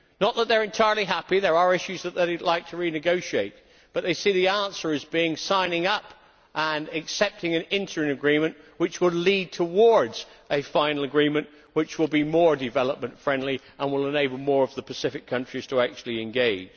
Not that they are entirely happy there are issues that they would like to renegotiate but they see the answer as being signing up and accepting an interim agreement which would lead towards a final agreement which will be more development friendly and will enable more of the Pacific countries to actually engage.